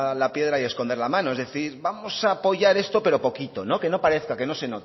la piedra y esconder la mano es decir vamos a apoyar esto pero poquito que no parezca que no se